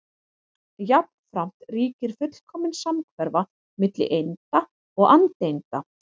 Jafnframt ríkir fullkomin samhverfa milli einda og andeinda.